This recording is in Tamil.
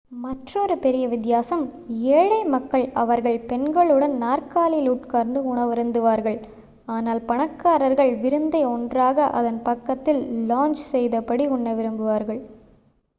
மற்றொரு பெரிய வித்தியாசம் ஏழை மக்கள் அவர்கள் பெண்களுடன் நாற்காலியில் உட்கார்ந்து உணவருந்துவார்கள் ஆனால் பணக்காரர்கள் விருந்தை ஒன்றாக அதன் பக்கத்தில் லௌங்ஜ் செய்தபடி உண்ண விரும்புவார்கள்